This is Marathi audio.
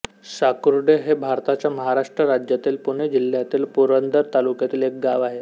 साकुर्डे हे भारताच्या महाराष्ट्र राज्यातील पुणे जिल्ह्यातील पुरंदर तालुक्यातील एक गाव आहे